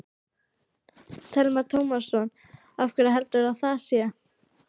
Telma Tómasson: Af hverju heldurðu að það sé?